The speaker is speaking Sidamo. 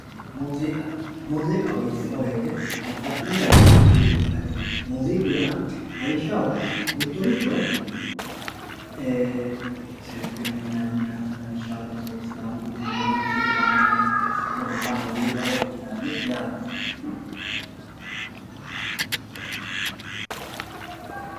Muuziqa muzikaho yinemowoyite babaxino danihu muuziku akati no muziku yaa lawishaho mitoricho sirbinaniha lawishaho sidaamu gidoo kone baala muziqaho yinani yaate